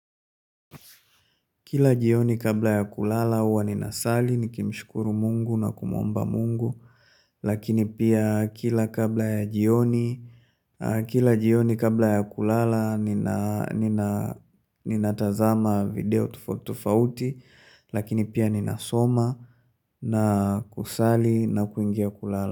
Kila jioni kabla ya kulala huwa ninasali, nikimshukuru mungu na kumuomba mungu, lakini pia kila kabla ya jioni, kila jioni kabla ya kulala ninatazama video tofauti tofauti, lakini pia ninasoma na kusali na kuingia kulala.